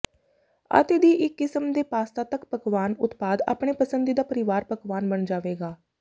ਅਤੇ ਦੀ ਇੱਕ ਕਿਸਮ ਦੇ ਪਾਸਤਾ ਤੱਕ ਪਕਵਾਨ ਉਤਪਾਦ ਆਪਣੇ ਪਸੰਦੀਦਾ ਪਰਿਵਾਰ ਪਕਵਾਨ ਬਣ ਜਾਵੇਗਾ